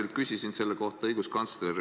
Ma küsisin selle kohta õiguskantslerilt.